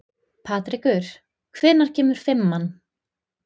Patrekur, hvenær kemur fimman?